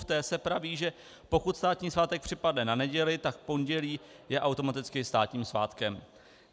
V té se praví, že pokud státní svátek připadne na neděli, tak pondělí je automaticky státním svátkem.